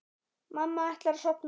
Mamma ætlar að sofna.